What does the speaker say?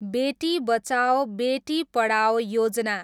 Beti Bachao, Beti Padhao Yojana